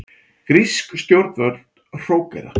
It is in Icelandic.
Grísk stjórnvöld hrókera